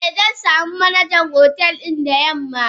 Eh zansamu Manajan hotel din da yamma.